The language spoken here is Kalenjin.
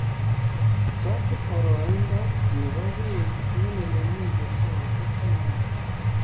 Chob boroindo nebo beek eng olemii keswot akibis